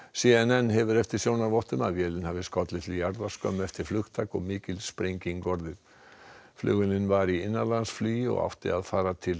c n n hefur eftir sjónarvottum að vélin hafi skollið til jarðar skömmu eftir flugtak og mikil sprenging orðið vélin var í innanlandsflugi og átti að fara til